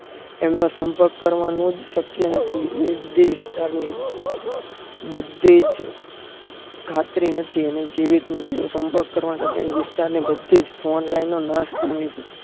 એમનો સંપર્ક કરવાનો જ શક્ય નથી એ બધી વિસ્તાર ની બધી જ ખાતરી નથી અને જીવિત નથી સંપર્ક કરવા સાથે વિસ્તાર ની બધી જ phone line નો નાસ પામી છે